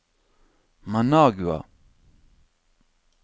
Managua